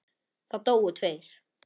Það dóu tveir.